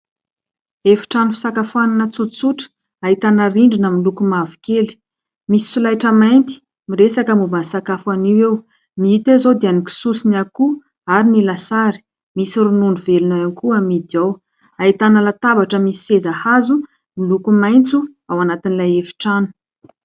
Efitrano fisakafoana tsotsotra, ahitana rindrina miloko mavokely. Misy solaitra mainty, miresaka momba ny sakafo anio eo; ny hita eo izao dia ny kisoa sy ny akoho ary ny lasary. Misy ronono velona ihany koa amidy ao. Ahitana latabatra misy seza hazo miloko maitso ao anatin'ilay efitrano.